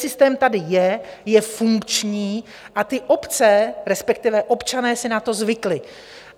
Systém tady je, je funkční a ty obce, respektive občané, si na to zvykli.